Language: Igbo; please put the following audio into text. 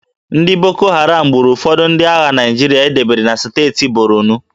Ndị Boko Haram gburu ụfọdụ ndị agha Naịjirịa e debere na steeti Borno